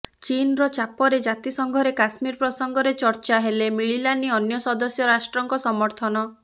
ଚୀନର ଚାପରେ ଜାତିସଂଘରେ କାଶ୍ମୀର ପ୍ରସଙ୍ଗରେ ଚର୍ଚ୍ଚା ହେଲେ ମିଳିଲାନି ଅନ୍ୟ ସଦସ୍ୟ ରାଷ୍ଟ୍ରଙ୍କ ସମର୍ଥନ